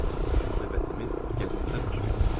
Söhbətimiz gəzintidə baş verdi.